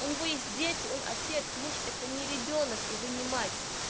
у него есть дети он отец муж это не ребёнок и вы не мать